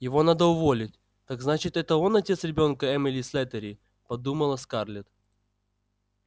его надо уволить так значит это он отец ребёнка эммили слэттери подумала скарлетт